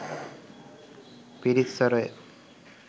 පිරිත් ස්වරය